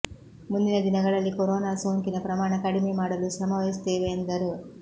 ಮುಂದಿನ ದಿನಗಳಲ್ಲಿ ಕೊರೊನಾ ಸೋಂಕಿನ ಪ್ರಮಾಣ ಕಡಿಮೆ ಮಾಡಲು ಶ್ರಮವಹಿಸುತ್ತೇವೆ ಎಂದರು